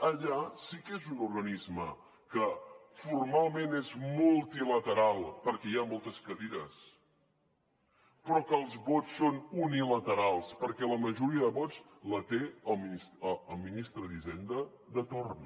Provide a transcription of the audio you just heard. allà sí que és un organisme que formalment és multilateral perquè hi ha moltes cadires però que els vots són unilaterals perquè la majoria de vots els té el ministre d’hisenda de torn